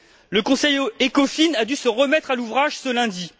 Le Conseil Ecofin a dû se remettre à l'ouvrage ce lundi.